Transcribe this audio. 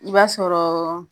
I b'a sɔrɔ